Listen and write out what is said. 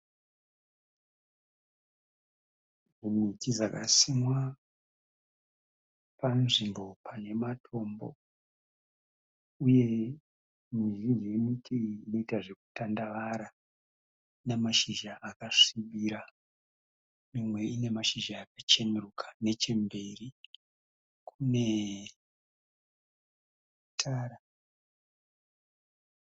Miti dzakasimwa panzvimbo pane matombo uye mizhinji yemiti iyi inoita zvekutandavara, ina mashizha akasvibira mimwe ine mashizha akacheneruka, nechemberi kune tara.